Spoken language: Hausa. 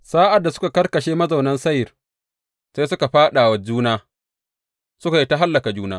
Sa’ad da suka karkashe mazaunan Seyir sai suka fāɗa wa juna, suka yi ta hallaka juna.